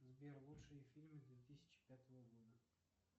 сбер лучшие фильмы две тысячи пятого года